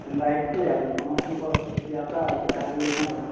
ହେନ୍ତା ଆଏସ୍ ଛେ ଆରୁ ସମସ୍ତଙ୍କର୍, ସେଥି ଆଶା ହାରିଗଲେ କେଁ କର୍ ମା!